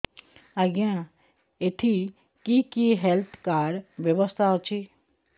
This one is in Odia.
ଆଜ୍ଞା ଏଠି କି କି ହେଲ୍ଥ କାର୍ଡ ବ୍ୟବସ୍ଥା ଅଛି